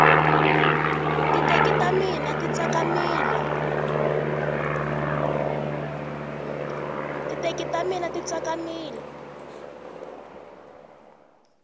titeki ta mina ti tsakamile